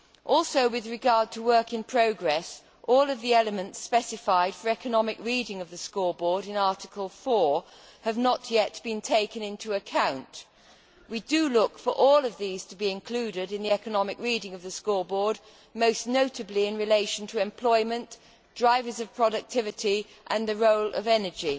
Also with regard to work in progress, not all of the elements specified for economic reading of the scoreboard in Article 4 have yet been taken into account. We look for all of these to be included in the economic reading of the scoreboard, most notably in relation to employment, drivers of productivity and the role of energy.